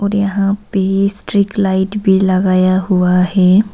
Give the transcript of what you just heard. यहां पे street light भी लगाया हुआ है।